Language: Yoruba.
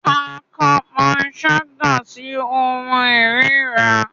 A ka panṣaga si ohun irira